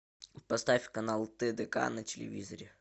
поставь канал тдк на телевизоре